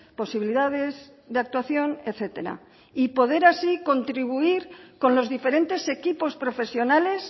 posibilidades de actuación etcétera y poder así contribuir con los diferentes equipos profesionales